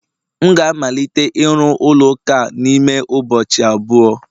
M ga-amalite ịru ụlọ ụka a n'ime ụbọchị abụọ